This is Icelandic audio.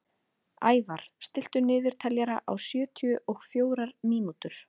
Ævarr, stilltu niðurteljara á sjötíu og fjórar mínútur.